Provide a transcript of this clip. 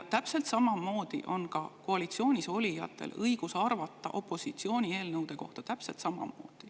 Täpselt sama on koalitsioonis olijatel õigus arvata opositsiooni eelnõude kohta.